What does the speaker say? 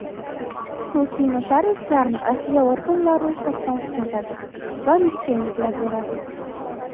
Xususiy notariuslarni adliya organlari ro‘yxatdan o‘tkazadi va litsenziya beradi.